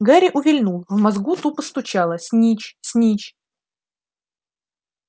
гарри увильнул в мозгу тупо стучало снитч-снитч